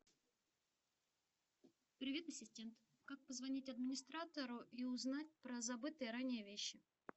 привет ассистент как позвонить администратору и узнать про забытые ранее вещи